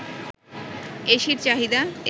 এসির চাহিদা